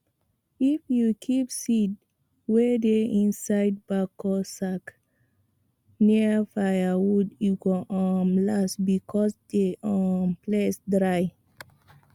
if you keep seed wey dey inside backo sack near firewood e go um last because the um place dry